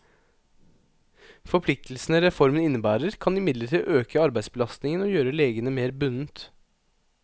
Forpliktelsene reformen innebærer, kan imidlertid øke arbeidsbelastningen og gjøre legene mer bundet.